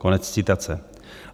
Konec citace.